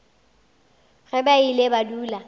ge ba ile ba dula